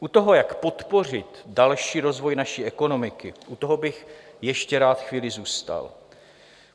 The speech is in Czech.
U toho, jak podpořit další rozvoj naší ekonomiky, u toho bych ještě rád chvíli zůstal.